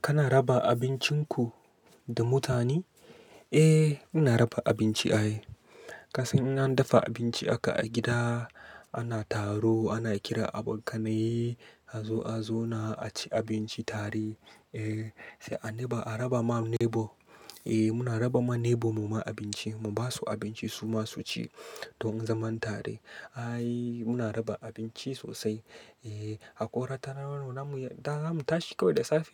Kana raba abincinku da mutane? Eh, ina raba abinci ai. Kasan in an dafa abinci haka a gida ana taro, ana kira abokanaye, a zo a zauna a ci abinci tare. Eh, sai a raba ma neighbor. Eh, muna raba ma neighbor mu ma abinci, mu ba su abinci su ma su ci don zaman tare. Ai muna raba abinci sosai. Eh, hakora ta nan mu tashi kawai da safe.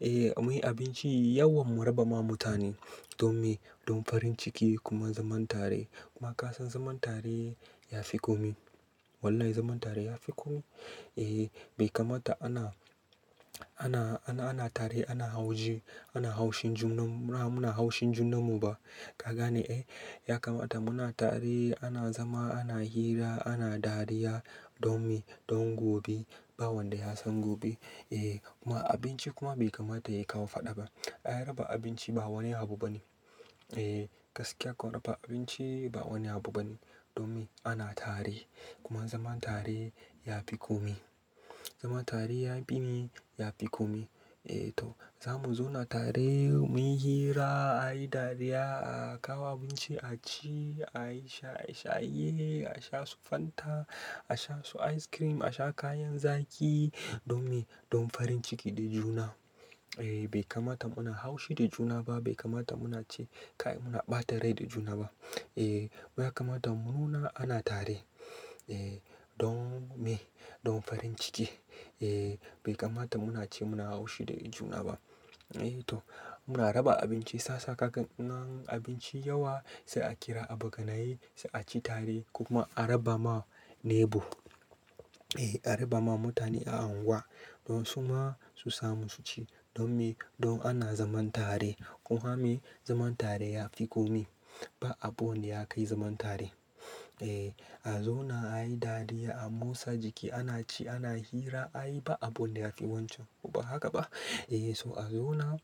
Eh, muyi abinci yawan mu raba ma mutane don me, don farin ciki kuma zaman tare. Kuma kasan zaman tare ya fi komi. Wallahi zaman tare ya fi komi. Eh, bai kamata ana, ana tare ana haushi, ana haushin junan mu. Mura muna haushin junan mu ba. Ka gane eh, ya kamata muna tare, ana zama, ana hira, ana dariya don me, don gobe ba wanda ya san gobe. Eh, kuma abinci kuma bai kamata yayi ka fadaba. Ai raba abinci ba wani abu bane. Eh, gaskiya ka raba abinci ba wani abu bane. Don me? Ana tare kuma zaman tare ya fi komi. Zaman tare ya bi ni, ya fi komi. Eh, to za mu zauna tare muyi hira, ayi dariya, a kawo abinci a ci, a yi shaye, a sha su fanta, a sha su ice cream, a sha kayan zaki. Don me? Don farin ciki da juna. Eh, bai kamata muna haushi da juna ba, bai kamata muna ci kayan muna ɓata rai da juna ba. Eh, wai ya kamata mu nuna ana tare. Eh, don me? Don farin ciki. Eh, bai kamata muna ce muna haushi da juna ba. Eh to, muna raba abinci. Sa sa ka gan in an abinci yawa sai a kira abokanaye, sai a ci tare kuma a raba ma neighbor. Eh, a raba ma mutane a unguwa don su ma su samu su ci. Don me? Don ana zaman tare. Ko ma me zaman tare ya fi komi. Ba abu ne ya kai zaman tare. Eh, a zauna ayi dariya, a motsa jiki, ana ci, ana hira, ayi ba abu ne yafi wancan. Ko ba haka ba? Eh, so a zauna,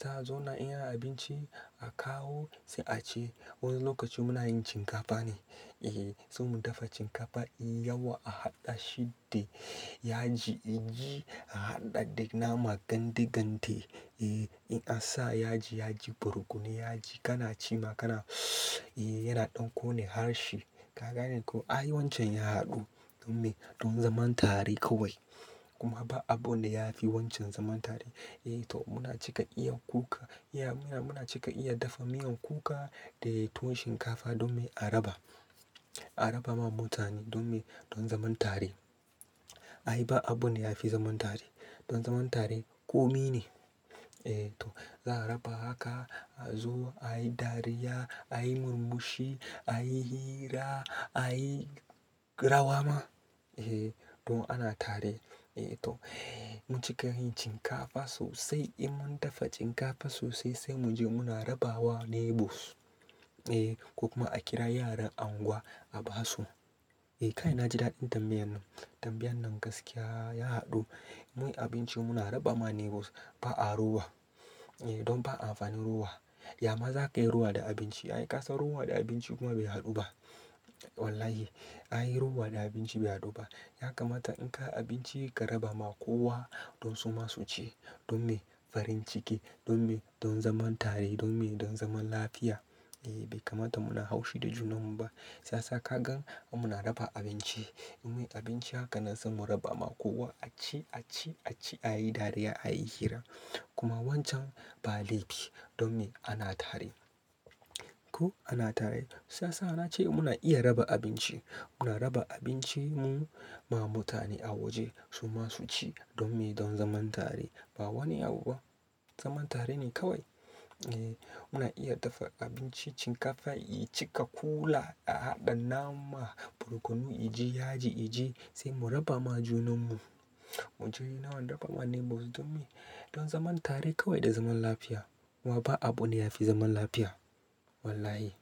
za a zauna in ana abinci a kawo sai a ci. Wani lokaci muna yin cinkafa ne. Eh, sai mun dafa cinkafa, yi yawa a haɗa shi da yaji, iji, a haɗa da nama gandi gande. Eh, in an sa yaji, yaji, burkunu, yaji kana ci ma kana eh yana ɗon ƙone harshe. Ka gane ko? Ai wancan ya haɗu don me? Don zaman tare kawai. Kuma ba abu ne yafi wancan zaman tare. Eh to, muna cika iya kuka. Muna cika iya dafa miyan kuka da tuwon shinkafa don me a raba. A raba ma mutane don me, don zaman tare. Ai ba abu ne yafi zaman tare. Don zaman tare ƙomi ne. Eh to, za a raba haka a zo ayi dariya, ayi murmushi, ayi hira, ayi rawa ma. Eh, don ana tare. Eh to, mun cika yin cinkafa sosai in mun dafa cinkafa sosai sai mu je muna raba wa neighbors. Eh, ko kuma a kira yaran unguwa a ba su. Eh, kai na ji daɗin tambayan nan. Tambayan nan gaskiya ya haɗu. Muyi abinci muna raba ma neighbors ba a rowa. Eh, don ba a amfanin rowa. Yama za ka yi rowa da abinci? Ai ka san rowa da abinci kuma bai haɗu ba. Wallahi ai rowa da abinci bai haɗu ba. Ya kamata in ka abinci ka raba ma kowa don su ma su ci. Don me? Farin ciki. Don me? Don zaman tare. Don me? Don zaman lafiya. Eh, bai kamata muna haushi da junan mu ba. Sa sa ka gan muna raba abinci. Muyi abinci haka nan sai mu raba ma kowa a ci, a ci, a ci, ayi dariya, ayi hira. Kuma wancan ba laifi. Don me? Ana tare. Ko ana tare. Sa sa na ce muna iya raba abinci. Muna raba abinci mu ma mutane a waje su ma su ci. Don me? Don zaman tare. Ba wani abu ba. Zaman tare ne kawai. Eh, muna iya dafa abinci, cinkafa, icika, kula, a haɗa nama, burkunu, iji, yaji, iji sai mu raba ma junan mu. Mu je nawa raba ma neighbors don me? Don zaman tare kawai da zaman lafiya. Wa ba abu ne yafi zaman lafiya? Wallahi.